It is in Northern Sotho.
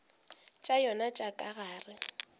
tša yona tša ka gare